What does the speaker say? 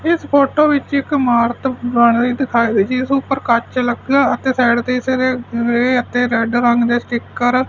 ਇਸ ਫੋਟੋ ਵਿੱਚ ਇੱਕ ਇਮਾਰਤ ਬਣ ਰਹੀ ਦਿਖਾਈ ਜਿਸ ਉਪਰ ਕੱਚ ਲੱਗਾ ਅਤੇ ਸਾਈਡ ਗ੍ਰੇ ਅਤੇ ਰੈਡ ਰੰਗ ਦੇ ਸਟੀਕਰ --